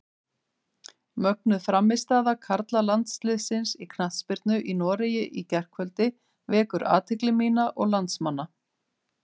Mögnuð frammistaða karlalandsliðsins í knattspyrnu í Noregi í gærkvöldi vekur athygli mína og landsmanna.